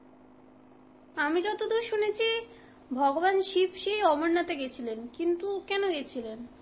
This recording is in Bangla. আমি যতদুর শুনেছি ভগবান শিব সি আমরনাথে গেছিলেন, কিন্তু কেন গেছিলেন?